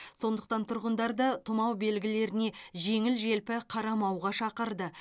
сондықтан тұрғындарды тұмау белгілеріне жеңіл желпі қарамауға шақырды